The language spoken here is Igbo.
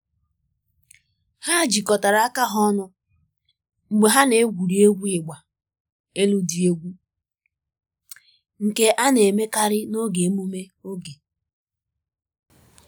Ha jikọtara aka ha ọnụ mgbe ha na-egwuri egwu ịgba elu dị egwu, nke a na-emekarị n’oge emume oge.